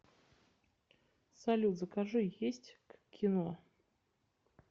салют закажи есть к кино